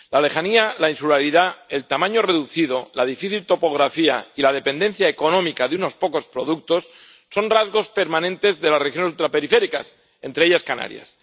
La lejanía, la insularidad, el tamaño reducido, la difícil topografía y la dependencia económica de unos pocos productos son rasgos permanentes de las regiones ultraperiféricas, entre ellas Canarias.